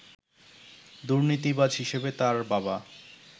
দুর্নীতিবাজ হিসাবে তার বাবা